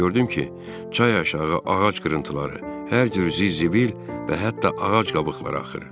Gördüm ki, çay aşağı ağac qırıntıları, hər cür zizibil və hətta ağac qabıqları axır.